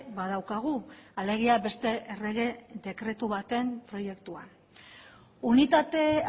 badaukagu alegia beste errege dekretu baten proiektua unitate